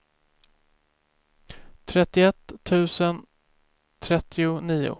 trettioett tusen trettionio